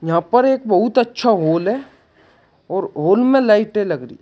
यहां पर एक बहुत अच्छा हॉल है और हॉल में लाइटें लग रही--